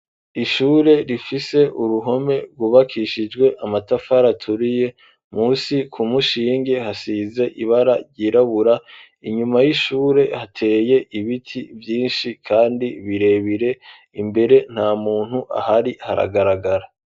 Ishure rifise uruhome rwubakishijwe amatafari aturiye musi ku mushingi hasize ibara ryirabura inyuma y'ishure hateye ibiti vyishi kandi birebire imbere nta muntu ahari haragaragara.